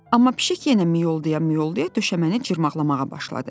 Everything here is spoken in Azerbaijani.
Amma pişik yenə mıyolda-mıyolda döşəməni cırmaqlamağa başladı.